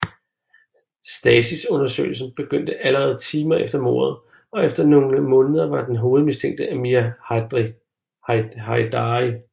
Stasis undersøgelsen begyndte allerede timer efter mordet og efter nogle måneder var den hovedmistænkte Amir Heidari